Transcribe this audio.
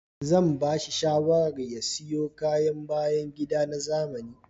Zan bashi shawarar ya siyo kayan bayan gida na zamani